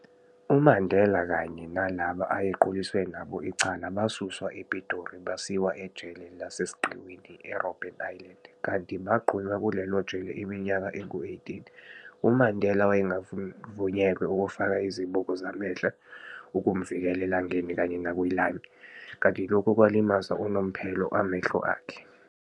UMandela kanye nalabo ayequliswa nabo icala basuswa ePitori basiwa ejele lasesiqiwini e-Robben Island, kanti bagqunywa kulelo jele iminyaka engu 18. UMandela wayengavunyelwe ukufaka izibuko zamehlo ukumvikela elangaeni kanye nakwi-lime, kanti lokhu kwalimaza unomphela amahlo akhe.